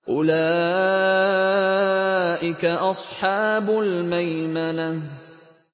أُولَٰئِكَ أَصْحَابُ الْمَيْمَنَةِ